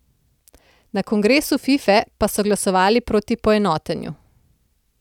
Na kongresu Fife pa so glasovali proti poenotenju.